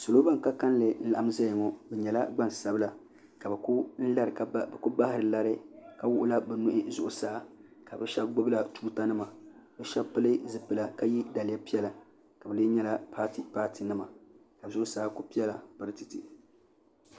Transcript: salo bani ka kanli n laɣim zaya ŋɔ bi nyɛla gbaŋ sabila ka biku bahari lari ka wuɣi la bi nuhi zuɣusaa ka bi shɛba gbubi la tuuta nima bi shɛba pili zipila ka ye daliya piɛla ka silɛɛ nyɛla paati paati nima ka zuɣusaa kuli piɛla parartɛtɛtɛ.